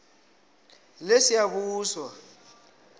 lesiyabuswa